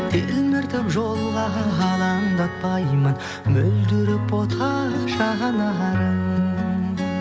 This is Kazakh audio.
телміртіп жолға алаңдатпаймын мөлдіреп бота жанарың